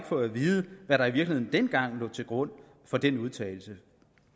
få at vide hvad der i virkeligheden dengang lå til grund for den udtalelse